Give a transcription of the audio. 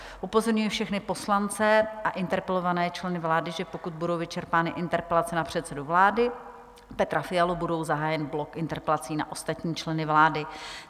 Upozorňuji všechny poslance a interpelované členy vlády, že pokud budou vyčerpány interpelace na předsedu vlády Petra Fialu, bude zahájen blok interpelací na ostatní členy vlády.